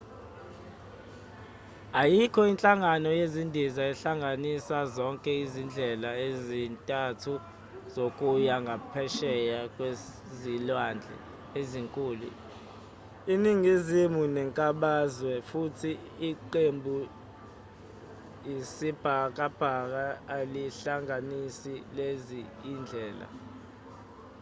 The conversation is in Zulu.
ayikho inhlangano yezindiza ehlanganisa zonke izindlela ezintathu zokuya ngaphesheya kwezilwandle ezinkulu eningizimu nenkabazwe futhi iqembuisibhakabhaka alihlanganisi lezi zindlela